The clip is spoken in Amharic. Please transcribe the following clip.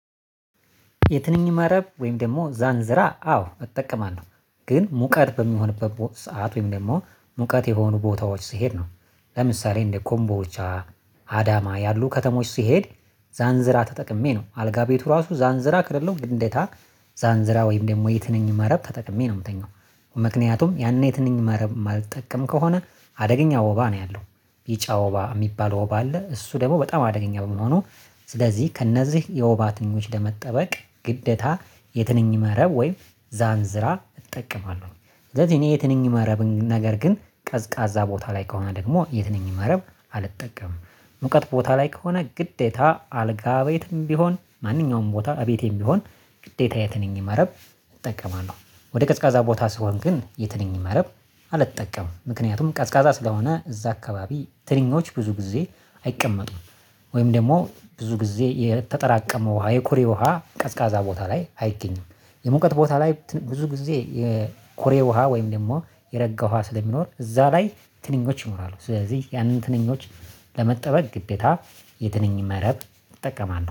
የትንኝ መረብ ወይም ደግሞ ዛንዝራ አዎ እጠቀማለሁ ግን ሙቀት በሚሆንበት ሰዓት ወይም ደግሞ ሙቀት የሆኑ ቦታዎች ሲሄድ ነው። ለምሳሌ እንደ ኮምቦልቻ አዳማ ያሉ ከተሞች ሲሄድ። ዛንዝራ ተጠቅሜ ነው አልጋ ቤቱ ራሱ ዛንዝራ ከሌለው ግዴታ ዛንዝራ ወይም ደግሞ የትንኝ መረብ ተጠቅሜ ነው የምተኛው። ምክንያቱም ያን የት ነኝ መረብ የማልጠቀም ከሆነ አደገኛ ወባ ነው ያለው። ቢጫ ወባ የሚባለው ወባ አለ እሱ ደግሞ በጣም አደገኛ በመሆኑ። ስለዚህ ከእነዚህ የወባ ትንኞች ለመጠበቅ ግደታ የትንኝ መረብ ወይም ዛንዝራ እጠቀማለሁ። እኔ የትንኝ መረብ ነገር ግን ቀዝቃዛ ቦታ ላይ ከሆነ ደግሞ የትንኝ መረብ አልጠቀምም። ሙቀት ቦታ ላይ ከሆነ ግዴታ አልጋ ቤትም ቢሆን ማንኛውም ቦታ አቤቴም ቢሆን ግዴታ የትንኝ መረብ እጠቀማለሁ። ወደ ቀዝቃዛ ቦታ ስሆን ግን የትንኝ መረብ አልጠቀምም። ምክንያቱም ቀዝቃዛ ስለሆነ እዛ አካባቢ ትንኞች ብዙ ጊዜ አይቀመጡም። ወይም ደግሞ ብዙ ጊዜ የተጠራቀመ ውሃ የኮሬ ውሃ ቀዝቃዛ ቦታ ላይ አይገኝም። የመውቀት ቦታ ላይ ብዙ ጊዜ የኮሬ ውሃ ወይም ደግሞ የረጋ ውሃ ስለሚኖር እዛ ላይ ትንኞች ይኖራሉ። ስለዚህ ያንን ትንኞች ለመጠበቅ ግዴታ የትንኝ መረብ እጠቀማለሁ